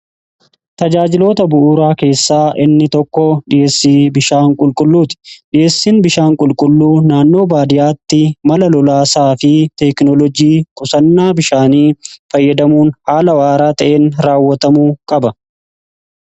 Tajaajiloota bu'uuraa keessaa inni tokko dhiheessii bishaan qulqulluuti dhi'eessiin bishaan qulqulluu naannoo baadiyaatti mala lolaasaa fi teeknolojii qusannaa bishaanii fayyadamuun haala waaraa ta'in raawwatamuu qaba.